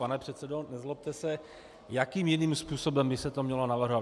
Pane předsedo, nezlobte se, jakým jiným způsobem by se to mělo navrhovat?